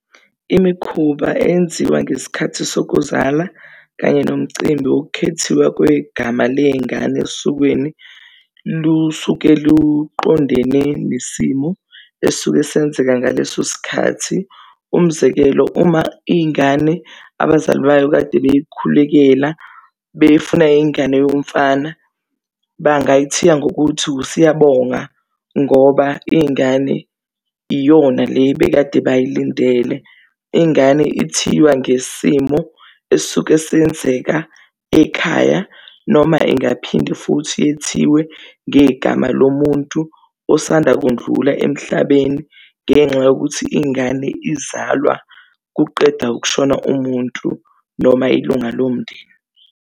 Imikhuba eyenziwa ngesikhathi sokuzala kanye nomcimbi wokukhethiwa kwegama ley'ngane esokweni lusuke luqondene nesimo esuke senzeka ngaleso sikhathi. Umzekelo uma iy'ngane abazali bayo kade beyikhulekela befuna ingane yomfana bangayithiya ngokuthi uSiyabonga ngoba ingane iyona le ebekade bayilindele. Ingane ithiwa ngesimo esuke senzeka ekhaya noma ingaphinde futhi yethiwe ngegama lomuntu osanda kundlula emhlabeni, ngenxa yokuthi ingane izalwa kuqeda ukushona umuntu noma ilunga lomndeni.